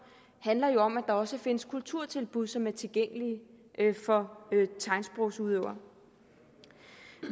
handler jo om at der også findes kulturtilbud som er tilgængelige for tegnsprogsudøvere